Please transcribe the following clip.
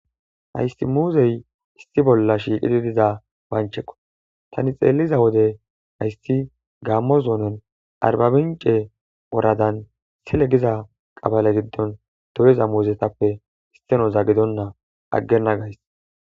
Hayssi muuzey issi bootha shiiqidi diza miisha oykkida oge bolla eqqida asatinne gita dembbazan miththata tokkishe dizayssane hara bagara gede miththatikka dizayssi beteesi.